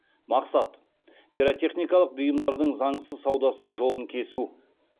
мақсат пиротехникалық бұйымдардың заңсыз саудасының жолын кесу